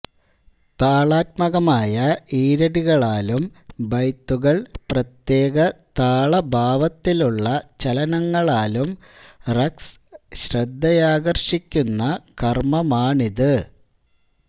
താളാത്മകമായ ഈരടികളാലും ബൈത്തുകൾ പ്രതേക താള ഭാവത്തിലുള്ള ചലനങ്ങളാലും റഖ്സ് ശ്രദ്ധയാകർഷിക്കുന്ന കർമ്മമാണിത്